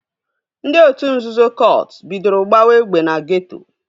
Ndị otu nzuzo kọt bidoro gbawa egbe na geeto